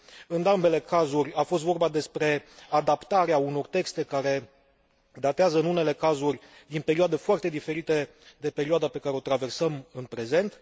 În ambele cazuri a fost vorba despre adaptarea unor texte care datează, în unele cazuri, din perioade foarte diferite de perioada pe care o traversăm în prezent.